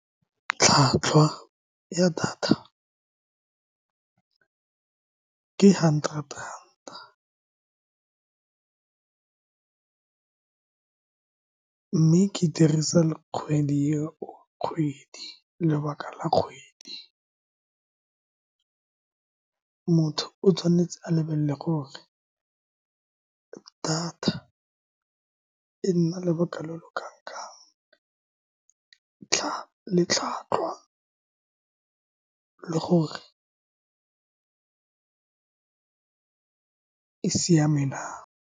Tlhwatlhwa ya data ke hundred ranta, mme ke e dirisa kgwedi eo Kgwedi, lebaka la kgwedi, motho o tshwanetse a lebelele gore data e nna lobaka lo lo kang-kang, le tlhwatlhwa, le gore e siameng na.